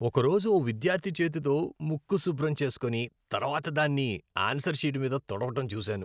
ఒకరోజు ఓ విద్యార్థి చేతితో ముక్కు శుభ్రం చేస్కొని, తర్వాత దాన్ని ఆన్సర్ షీట్ మీద తుడవడం చూశాను.